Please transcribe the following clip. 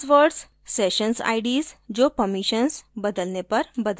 hash passwords sessions ids जो permissions बदलने पर बदल जाती है